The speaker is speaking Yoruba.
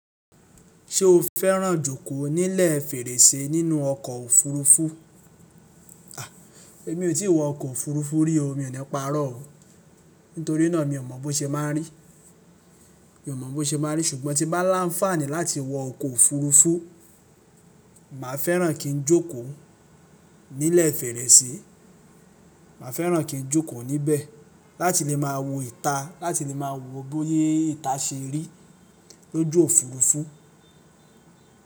Ṣé o fẹ́ràn jókòó nílẹ̀ fèrèsé nínú ọkọ̀ òfurufú? A! Èmi ò tí ì wọ ọkọ̀ òfurufú rí o, mi ò ní pa'rọ́ o. Nítorí náà mi ò mọ̀ bó ṣe n máa rí. Mi ò mọ̀ bó ṣe máa n rí, ṣùgbọ́n tí bá lánfaàní láti wọ ọkọ̀ òfurufú, màá fẹ́ràn kí n jókòó nílẹ̀ fèrèsé. Màá fẹ́ràn kí n jókò níbẹ̀ láti lè máa wo ìta, láti lè máa wo bóyé ìta ṣe rí lójú òfurufú.